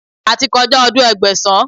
A ti kọjá ọdún Ẹgbẹ̀sán.